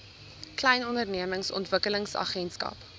klein ondernemings ontwikkelingsagentskap